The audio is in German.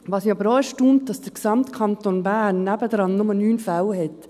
Was mich aber auch erstaunt, ist, dass der gesamte Kanton Bern daneben nur 9 Fälle hat.